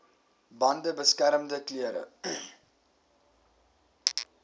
bande beskermende klere